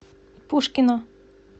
пушкино